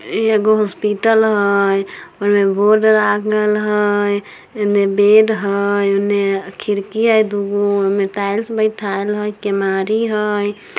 इ एगो हॉस्पिटल हेय ओय मे एक बोर्ड लागल हेय ओय मे बेड हेय उने खिड़की हेय दुगो ओय मे टाइल्स बैठाईएल हेय केवारी हेय।